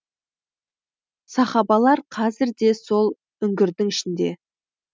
сахабалар қазір де сол үңгірдің ішінде